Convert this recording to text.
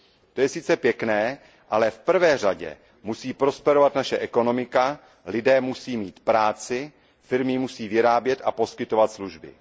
To je sice pěkné, ale v první řadě musí prosperovat naše ekonomika, lidé musí mít práci, firmy musí vyrábět a poskytovat služby.